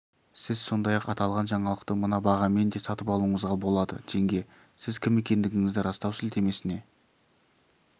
сіз сондай-ақ аталған жаңалықты мына бағамен де сатып алуыңызға болады теңге сіз кім екендігіңізді растау сілтемесіне